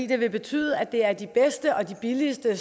det vil betyde at det er de bedste og de billigste